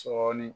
Sɔɔni